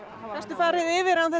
gastu farið yfir án þess